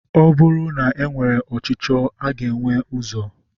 Ọ bụrụ na e nwere ọchicho a ga enwe ụzọ?